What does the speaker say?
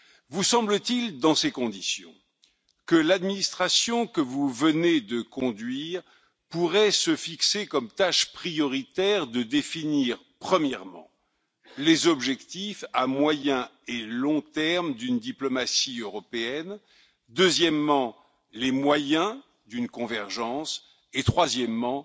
Vous semble t il, dans ces conditions, que l'administration que vous venez de conduire pourrait se fixer comme tâches prioritaires de définir, premièrement, les objectifs à moyen et long terme d'une diplomatie européenne, deuxièmement, les moyens d'une convergence et, troisièmement,